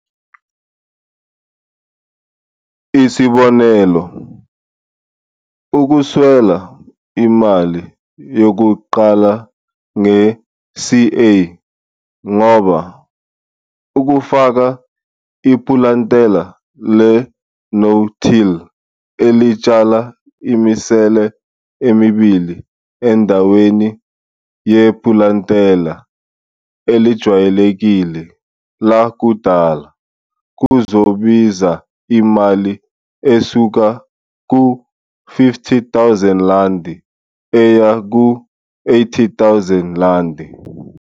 Isibonelo - ukuswela imali yokuqala nge-CA ngoba ukufaka ipulantela le'no-till' elitshala imisele emibili endaweni yepulantela elijwayelekile, lakudala, kuzobiza imali esuka ku-R50 000 eya ku-R80 000.